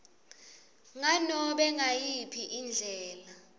nganobe ngayiphi indlela